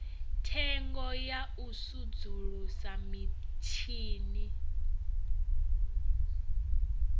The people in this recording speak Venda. thengo ya u sudzulusa mitshini